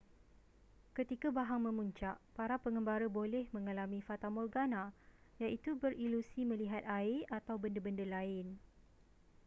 ketika bahang memuncak para pengembara boleh mengalami fatamorgana iaitu berilusi melihat air atau benda-benda lain